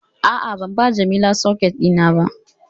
A'a, ban ba Jamila socket dina ba